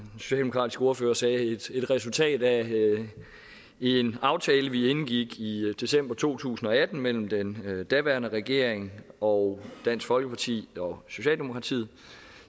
socialdemokratiske ordfører sagde et resultat af en aftale vi indgik i december to tusind og atten mellem den daværende regering og dansk folkeparti og socialdemokratiet